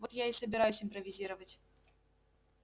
вот я и собираюсь импровизировать